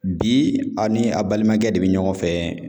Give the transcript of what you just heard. Bi ani a balimakɛ de bɛ ɲɔgɔn fɛ.